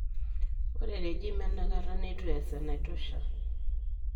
Ore regime etanakata neitu eeas enaitosha.